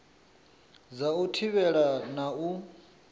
dza u thivhela na u